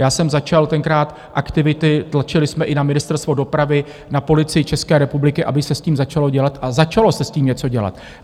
Já jsem začal tenkrát aktivity, tlačili jsme i na Ministerstvo dopravy, na Policii České republiky, aby se s tím začalo dělat, a začalo se s tím něco dělat.